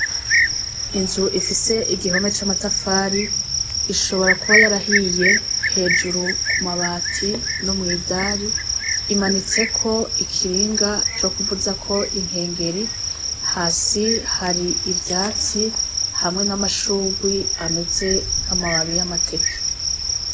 Inzu ifise igihome c' amatafari ishobora kuba yarahiye hejuru kumabati no mw' idari imanitseko ikinga co kuvuzako ikengeri hasi hari ivyatsi hamwe n' amashugwe ameze nk' amababi y' amateke.